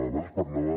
abans parlava